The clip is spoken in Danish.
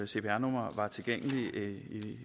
cpr numre var tilgængelige